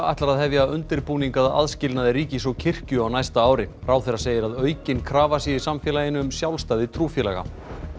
ætlar að hefja undirbúning að aðskilnaði ríkis og kirkju á næsta ári ráðherra segir að aukin krafa sé í samfélaginu um sjálfstæði trúfélaga